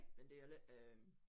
Men det er lidt øh